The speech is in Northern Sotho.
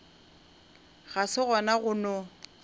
ga se gona go no